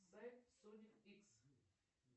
сайт соник икс